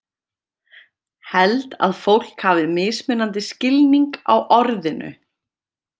Held að fólk hafi mismunandi skilning á orðinu.